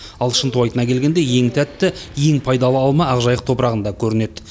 ал шынтуайтына келгенде ең тәтті ең пайдалы алма ақжайық топырағында көрінеді